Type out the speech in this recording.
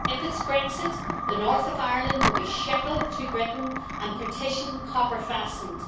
If it is Brexit the North of Ireland will be shackled to Britain and partition copper fastened.